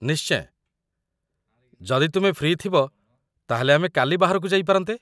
ନିଶ୍ଚୟ, ଯଦି ତୁମେ ଫ୍ରି ଥିବ ତା'ହେଲେ ଆମେ କାଲି ବାହାରକୁ ଯାଇପାରନ୍ତେ ।